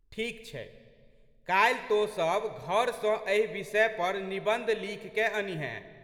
ठीक छै। काल्हि तोँ सब घर सँ एहि विषय पर निबंध लिखिकए अनिहेँ।